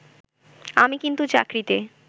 আমি কিন্তু চাকরিতে